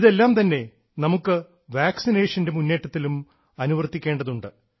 ഇതെല്ലാം തന്നെ നമുക്ക് വാക്സിനേഷൻറെ മുന്നേറ്റത്തിലും അനുവർത്തിക്കേണ്ടതുണ്ട്